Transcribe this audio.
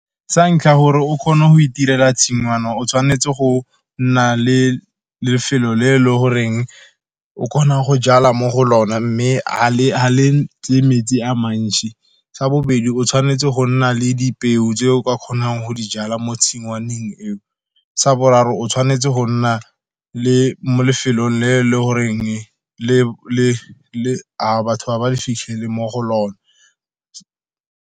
Sa ntlha gore o kgone go itirela tshingwana, o tshwanetse go nna le lefelo le e le goreng o kgona go jala mo go lone, mme ga le metsi a mantsi. Sa bobedi, o tshwanetse go nna le dipeo tse o ka kgonang go dijala mo tshingwaneng eo. Sa boraro, o tshwanetse go nna le mo lefelong le le gore batho ga ba le fitlhele mo go lone.